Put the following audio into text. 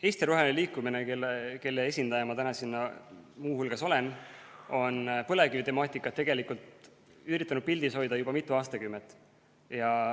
Eesti Roheline Liikumine, kelle esindaja ma siin täna muu hulgas olen, on tegelikult üritanud põlevkivitemaatikat pildil hoida juba mitu aastakümmet.